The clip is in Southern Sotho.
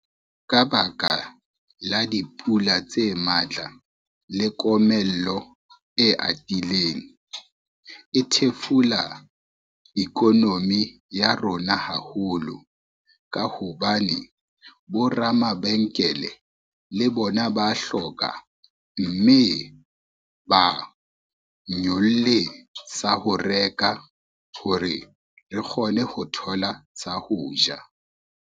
Ka baka la dipula tse matla le komello e atileng, e thefula economy ya rona haholo, ka hobane bo ramabenkele le bona ba hloka mme ba nyolle sa ho reka hore re kgone ho thola sa ho ja.